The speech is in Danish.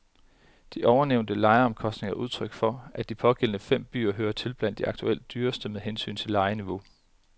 De ovennævnte lejeomkostninger er udtryk for, at de pågældende fem byer hører til blandt de aktuelt dyreste med hensyn til lejeniveau.